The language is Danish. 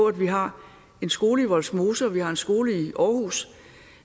at vi har en skole i vollsmose og vi har en skole i aarhus